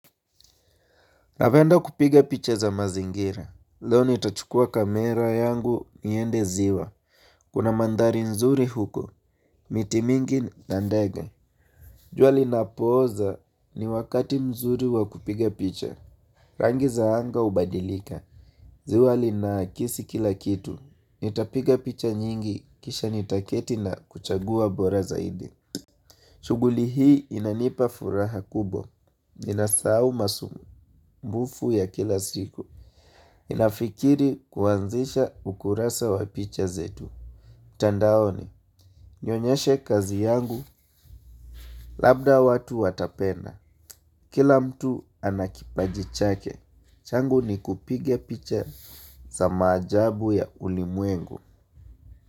Napenda kupiga picha za mazingira, leo nitachukua kamera yangu niende ziwa, kuna mandhari nzuri huko, miti mingi na ndege jua linapoanza ni wakati mzuri wa kupiga picha, rangi za anga hubadilika ziwa linakisi kila kitu, nitapiga picha nyingi, kisha nitaketi na kuchagua bora zaidi shughuli hii inanipa furaha kubwa, ninasahau masumbufu ya kila siku Nafikiri kuanzisha ukurasa wa picha zetu mtandaoni nionyeshe kazi yangu labda watu watapenda, Kila mtu ana kipaji chake changu ni kupiga picha za maajabu ya ulimwengu.